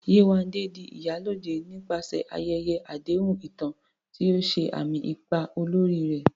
Yewande di "Iyalode" nípasẹ̀ ayẹyẹ àdéhùn ìtàn, tí ó ṣe àmì ipa olórí rẹ̀.